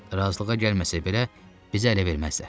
Razılığa gəlməsələr belə, bizə ələ verməzlər.